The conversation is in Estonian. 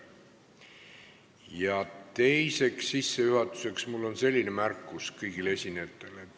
Ja teiseks on mul sissejuhatuseks üks märkus kõigile esinejatele.